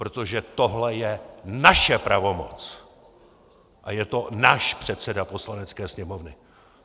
Protože tohle je naše pravomoc a je to náš předseda Poslanecké sněmovny!